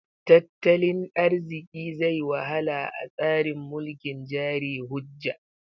Tattalin arziki zai wahala a tsarin mulkin jari hujja.